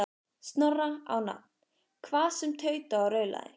Snorra á nafn, hvað sem tautaði og raulaði.